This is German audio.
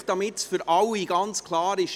Einfach, damit es für alle ganz klar ist: